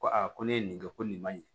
Ko aa ko ne ye nin kɛ ko nin man ɲi